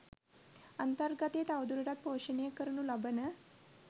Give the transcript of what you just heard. අන්තර්ගතය තවදුරටත් පෝෂණය කරනු ලබන